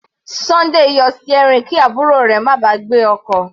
Sunday yọ steering kí àbúrò rẹ̀ má ba à gbé ọkọ̀.